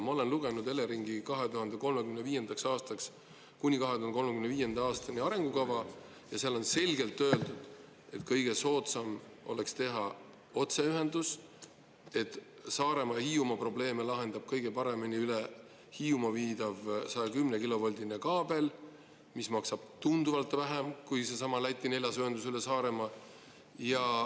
Ma olen lugenud Eleringi arengukava kuni 2035. aastani ja seal on selgelt öeldud, et kõige soodsam oleks teha otseühendus, Saaremaa ja Hiiumaa probleeme lahendab kõige paremini üle Hiiumaa viidav 110-kilovoldine kaabel, mis maksab tunduvalt vähem kui seesama Läti neljas ühendus üle Saaremaa.